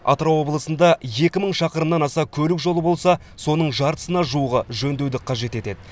атырау облысында екі мың шақырымнан аса көлік жолы болса соның жартысына жуығы жөндеуді қажет етеді